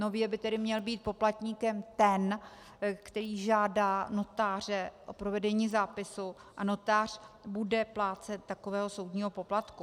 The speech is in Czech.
Nově by tedy měl být poplatníkem ten, který žádá notáře o provedení zápisu, a notář bude plátce takového soudního poplatku.